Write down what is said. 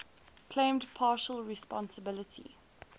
claimed partial responsibility